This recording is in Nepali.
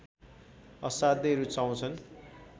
असाध्यै रुचाउँछन्